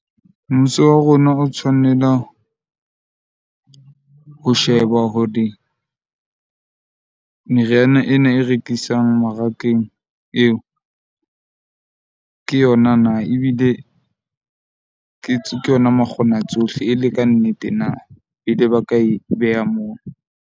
Mmuso wa rona o tshwanela, ho sheba hore meriana ena e rekisang mmarakeng eo ke yona na ebile ke tswe ke yona makgonatsohle e le kannete na, pele ba ka e beha moo.